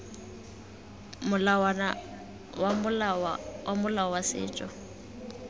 molawana wa molao wa setso